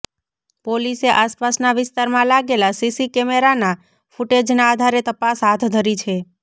પોલીસે આસપાસના વિસ્તારમાં લાગેલા સીસી કેમેરાના ફુટેજના આધારે તપાસ હાથ ધરી છે